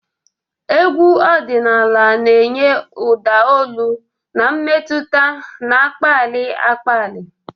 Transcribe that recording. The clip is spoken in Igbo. Egwu ọdịnala na-enye ụda olu na mmetụta na-akpali akpali.